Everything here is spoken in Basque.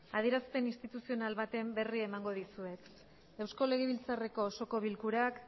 adierazpen instituzional baten berri emango dizuet eusko legebiltzarreko osoko bilkurak